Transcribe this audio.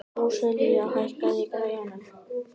Róselía, hækkaðu í græjunum.